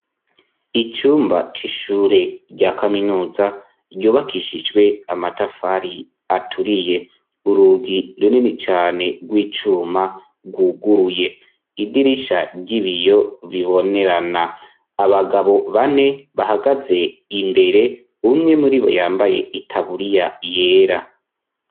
Icumba c'ishure rya kaminuza ryubakishijwe amatafari aturiye. Uurugi runini cane rw'icuma rwuguruye. Idirisha ry'ibiyo bibonerana . Abagabo bane bahagaze imbere umwe muri bo yambaye itaburiya yera.